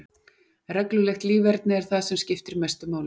Reglulegt líferni er það sem skiptir mestu máli.